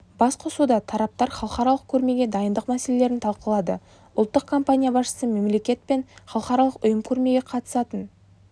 басқосуда тараптар халықаралық көрмеге дайындық мәселелерін талқылады ұлттық компания басшысы мемлекет пен халықаралық ұйым көрмеге қатысатынын